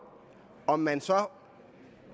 at man så